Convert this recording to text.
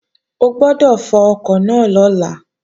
O gbọ́dọ̀ fọkọ̀ náà lọ́la!